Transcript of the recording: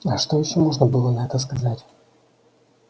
а что ещё можно было на это сказать